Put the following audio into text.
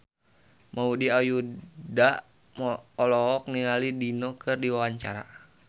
Maudy Ayunda olohok ningali Dido keur diwawancara